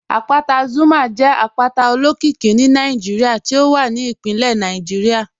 Àpátà Zuma jẹ àpátà òlókìíkí ní Nàìjíríà tí ó wà ní ìpínlẹ̀ Nàìjíríà